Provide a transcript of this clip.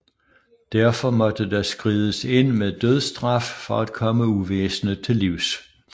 Derfor måtte der skrides ind med dødsstraf for at komme uvæsenet til livs